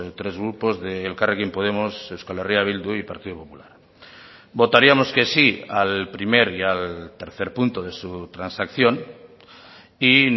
tres grupos de elkarrekin podemos euskal herria bildu y partido popular votaríamos que sí al primer y al tercer punto de su transacción y